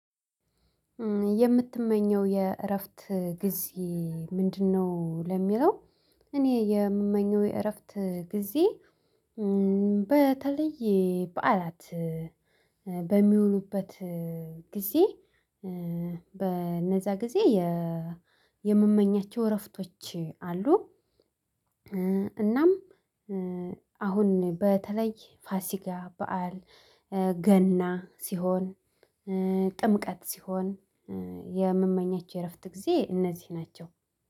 የምትመኘው የእረፍት ጊዜ ምንድነው? ለሚለው እኔ የምመኘው የእረፍት ጊዜ እ በተለየ በዓላት በሚውሉበት ጊዜ በእነዛ ጊዜ የ የምመኛቸው እረፍቶች አሉ። እናም ኧ አሁን በተለይ ፋሲጋ በዓል ኧ ገና ሲሆን ኧ ጥምቀት ሲሆን የምመኛቸው የእረፍት ጊዜ እነዚህ ናቸው